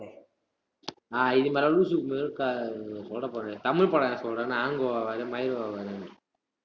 ஆஹ் இது மாதிரி லூசு சொல்லிட போறேன். தமிழ் படம் ஏதாவது சொல்றான்னா, hangover over ண்டு